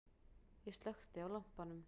Ég slökkti á lampanum.